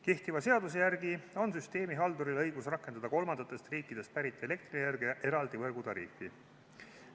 Kehtiva seaduse järgi on süsteemihalduril õigus rakendada kolmandatest riikidest pärit elektrienergia suhtes eraldi võrgutariifi.